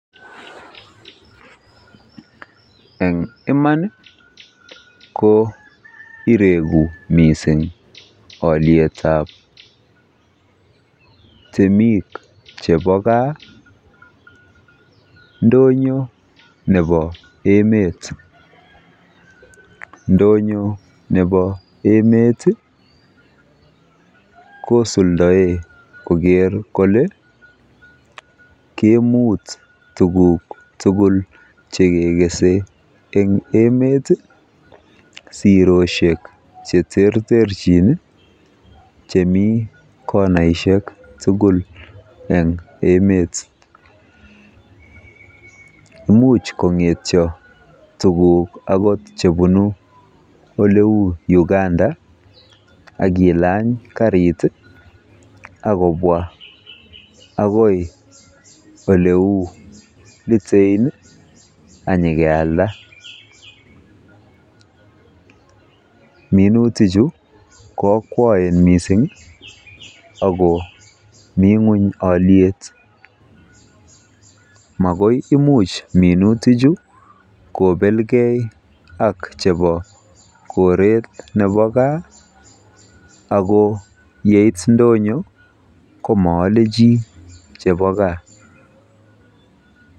En iman ko ireku mising olyet ab temk chebo gaa ndonyo nebo emet. Ndonyo nebo emet kosuldaen koger kole keimuch tuguk tugul che kegese en emet i , siroshek che terterchin chemi konaishek tugul en emet. Imuch kong'etyo tuguk agot chebunu ole u Uganda ak ilany karit ak kobwa agoi ole u Litein ak kenyikelaa. Minutik chu ko akwaen mising ago mi ng'weny olyet magoi imuch minutik chu kobelge ak chebo koret nebo gaa ago yeit ndonyo komoole chi chebo gaa